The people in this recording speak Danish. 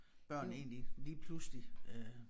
Børn egentlig lige pludselig øh